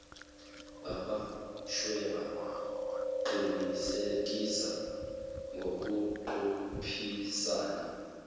bamachweba qinisekise ngokuqophisana